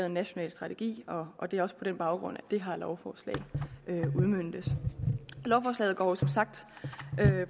en national strategi og det er også på den baggrund at det her lovforslag udmøntes lovforslaget går som sagt